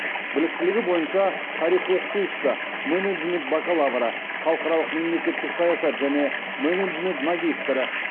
біліктілігі бойынша тарих оқытушысы менеджмент бакалавры халықаралық мемлекеттік саясат және менеджмент магистрі